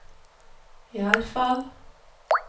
iallfall